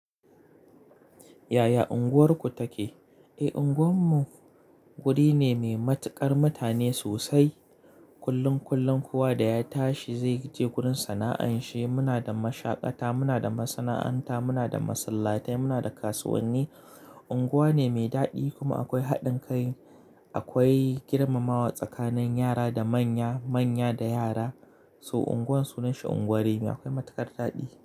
Yaya unguwarku take? Eh, unguwarmu wuri ne mai matuƙar mutane sosai. Kullun kullun kuwa da ya tashi zai je gurin sana'an shi. Muna da mashakata, muna da masana'anta, muna da masallatai, muna da kasuwanni. Unguwa ne mai daɗi kuma akwai haɗin kai. Akwai girmamawa tsakanin yara da manya, manya da yara. To unguwar sunan shi unguwar rimi akwai matuƙar daɗi.